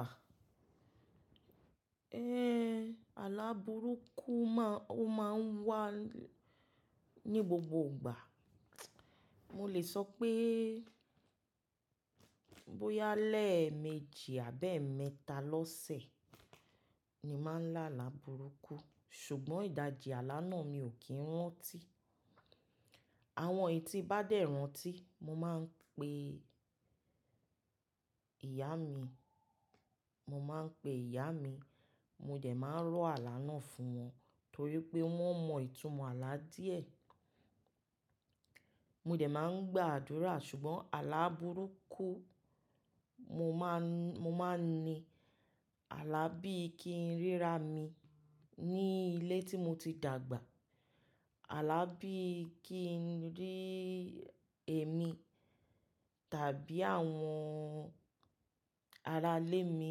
À, éh àlá burúkú ma o má ń wá ní gbogbo ìgbà. Mo lè sọ pé bóyá lẹ́ẹ̀ méjì àbi ẹ́ mẹ́ta lọ́sẹ̀ ni má ń lá àlá burúkú sùgbọ́n ìdajì àlá náà mi ò kí n rántí. Àwọn eyi tí bá dẹ̀ rántí mo má ń pe ìyá mi, mo má ń pe ìyá mi mo dẹ̀ má ń rọ́ àlá náà fún wọn torí pé wọ́n mọ ìtumọ̀ àlá díẹ̀. Mo dẹ̀ má ń gba àdúrà sùgbọ́n àlá burúkú mo má ń, mo má ń ni àlá bí i kí n rí ra mi ní ilé tí mo ti dàgbà. Àlá bí i kí n rí èmi tàbí àwọn arailẹ́ mi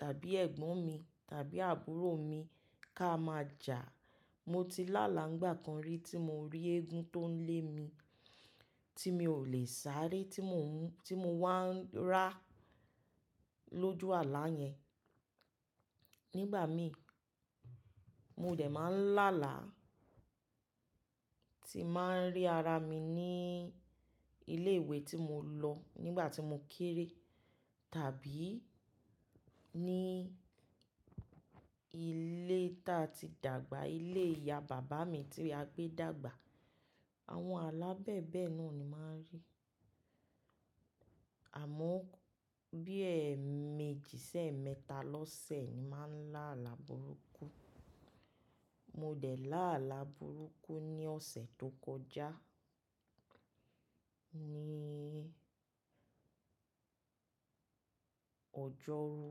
tàbí ẹ̀gbọ́n mi tàbí àbúrò mi ká má jà. Mo ti lálá ńgbà kan rí tí mo rí eégún tó ń lé mi tí mi ò lè sáré tí mo ń, tí mo wá ń rà lójú àlá yẹn. Nígbà mi mo dẹ̀ má ń lálá tí mà ń rí ara mi ní ilé ìwé tí mo lọ nígbà tí mo kéré tàbí ní ilé tá a ti dàgbà, ilé ìyá bàbá mi tí a gbé dàgbà. Àwọn àlá bẹ́ẹ̀ bẹ́ẹ̀ náà ni mà ń rí. Àmọ́ bí i ẹ̀ méjì sẹ́ mẹ́ta lọ́sẹ̀ ni mà ń lá àlá burúkú. Mo dẹ̀ lá àlá burúkú ní ọ̀sẹ̀ tó kọjá ní ọjọ́rú.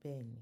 Bẹ́ẹ̀ ni.